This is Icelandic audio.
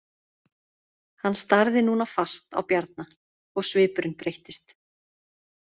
Hann starði núna fast á Bjarna og svipurinn breyttist.